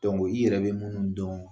i yɛrɛ bɛ minnu dɔn